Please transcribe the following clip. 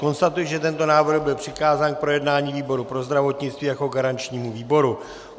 Konstatuji, že tento návrh byl přikázán k projednání výboru pro zdravotnictví jako garančnímu výboru.